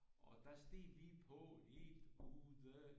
Og der steg vi på helt ude